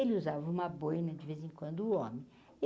Ele usava uma boina de vez em quando, o homem.